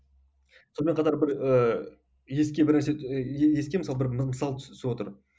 сонымен қатар бір ііі еске бір нәрсе еске мысал бір мысал түсіп отыр